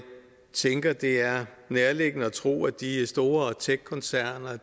tænker at det er nærliggende at tro at de store techkoncerner